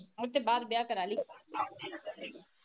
ਓਦੇ ਬਾਅਦ ਵਿਆਹ ਕਰਵਾਲੀ